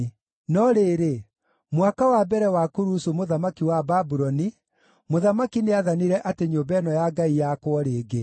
“No rĩrĩ, mwaka wa mbere wa Kurusu mũthamaki wa Babuloni, mũthamaki nĩathanire atĩ nyũmba ĩno ya Ngai yakwo rĩngĩ.